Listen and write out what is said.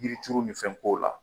Yiri turu ni fɛn ko la.